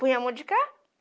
Punha a mão de cá.